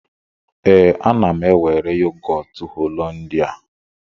Ee, ana m ewere yogọt Hollandia.